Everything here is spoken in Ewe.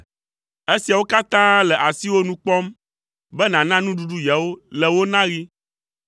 Esiawo katã le asiwò nu kpɔm be nàna nuɖuɖu yewo le wo naɣi.